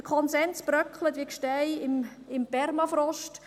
Der Konsens bröckelt, wie die Gesteine im Permafrost.